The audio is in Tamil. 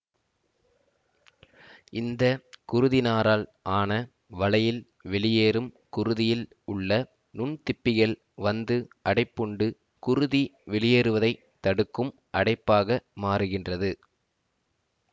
இந்த குருதிநாரால் ஆன வலையில் வெளியேறும் குருதியில் உள்ள நுண்திப்பிகள் வந்து அடைப்புண்டு குருதி வெளியேறுவதை தடுக்கும் அடைப்பாக மாறுகின்றது